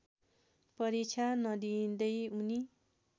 परीक्षा नदिँदै उनी